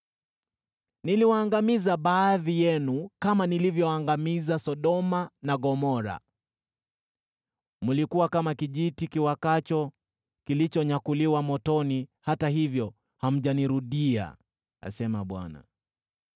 “Niliwaangamiza baadhi yenu kama nilivyoangamiza Sodoma na Gomora. Mlikuwa kama kijiti kiwakacho kilichonyakuliwa motoni, hata hivyo hamjanirudia,” asema Bwana .